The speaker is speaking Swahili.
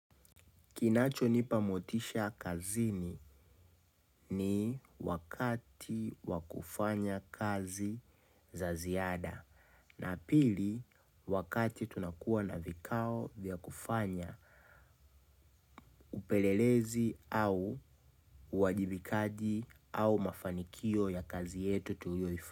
Kinachonipa motisha kazini ni wakati wa kufanya kazi za ziada na pili wakati tunakuwa na vikao vya kufanya upelelezi au uwajibikaji au mafanikio ya kazi yetu tuyoifa.